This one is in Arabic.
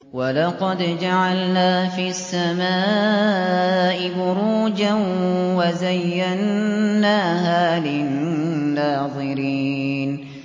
وَلَقَدْ جَعَلْنَا فِي السَّمَاءِ بُرُوجًا وَزَيَّنَّاهَا لِلنَّاظِرِينَ